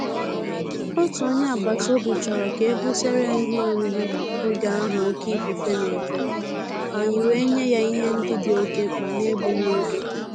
Òtù ónyé ágbàtàòbì chọrọ ka e butere ya ìhè órírí ògè ahụ òké ífùfé na-efe, ànyị́ wèé nyé yá ìhè ndị́ dì òké mkpá n’égbúghị́ ògè.